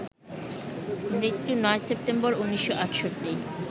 মৃত্যু ৯ সেপ্টেম্বর, ১৯৬৮